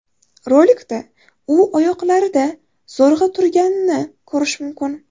Rolikda u oyoqlarida zo‘rg‘a turganini ko‘rish mumkin.